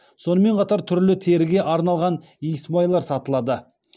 сонымен қатар түрлі теріге арналған иісмайлар сатылады